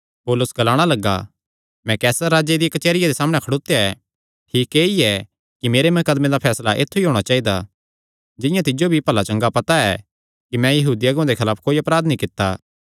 पौलुस ग्लाणा लग्गा मैं कैसरे राजे दिया कचेहरिया दे सामणै खड़ोत्या ऐ ठीक ऐई ऐ कि मेरे मकदमे दा फैसला ऐत्थु ई होणा चाइदा जिंआं तिज्जो भी भला चंगा पता ऐ कि मैं यहूदी अगुआं दे खलाफ कोई अपराध नीं कित्ता